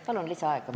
Palun lisaaega!